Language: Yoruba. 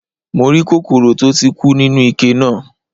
Mo rí kòkòrò tó ti kú nínú ike náà.